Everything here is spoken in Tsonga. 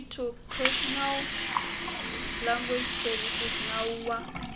pri tsoarticlenational language servicesnawu wa